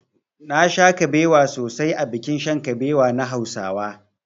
Nasha kabewa sosai a bikin shan kabewa na hausawa.